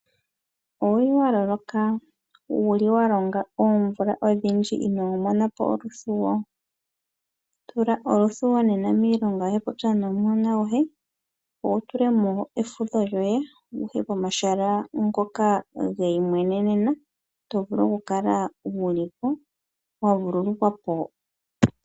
Owuli wa loloka? Wuli wa longa oomvula odhindji inoo mona po oluthuwo? Tula oluthuwo nena miilonga popya nomuhona goye ngoye wu tule mo efudho lyoye wuye komahala ngoka geimweneneno to vulu okukala wuli po wavululukwa po.